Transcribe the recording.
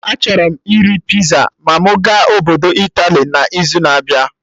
Achọrọ m iri pizza ma mụ ga obodo Italy n'izu na-abịa